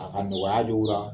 A ka nɔgɔya